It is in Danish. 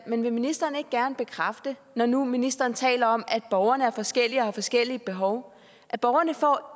men vil ministeren ikke gerne bekræfte når nu ministeren taler om at borgerne er forskellige og har forskellige behov at borgerne